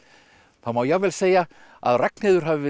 má jafnvel segja að Ragnheiður hafi verið